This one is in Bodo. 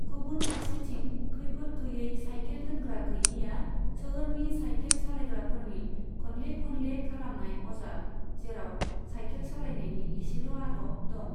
गुबुन फारसेथिं, खैफोद गैयै साइखेल दोनग्रा गैयैआ सोहोरनि साइखेल सालायग्राफोरनि खनले खनले खालामनाय अजाद, जेराव साइखेल सालायनायनि इसेल' आदब दं।